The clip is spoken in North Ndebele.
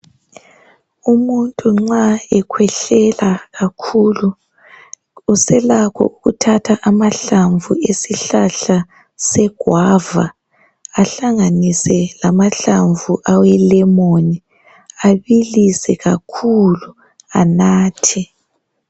Umuntu nxa ekhwehlela kakhulu uselakho ukuthatha amahlamvu esihlahla seguwava ahlanganise lamahlamvu awelemoni abilise kakhulu, anathe.